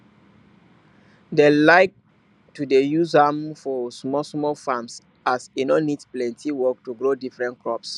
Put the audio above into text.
dem like to dey use am for smallsmall farms as e no need plenty work to grow different crops